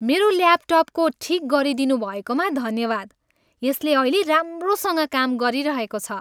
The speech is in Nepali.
मेरो ल्यापटपको ठिक गरिदिनु भएकोमा धन्यवाद। यसले अहिले राम्रोसँग काम गरिरहेको छ।